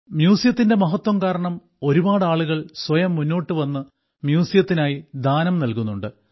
മ്യൂസിയത്തിന്റെ മഹത്വം കാരണം ഒരുപാട് ആളുകൾ സ്വയം മുന്നോട്ട് വന്ന് മ്യൂസിയത്തിനായി ദാനം നൽകുന്നുണ്ട്